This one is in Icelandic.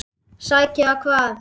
Sækja hvað?